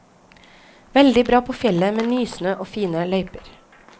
Veldig bra på fjellet med nysnø og fine løyper.